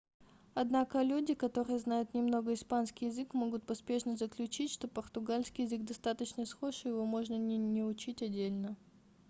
однако люди которые знают немного испанский язык могут поспешно заключить что португальский язык достаточно схож и его можно не учить отдельно